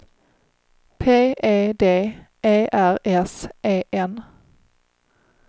P E D E R S E N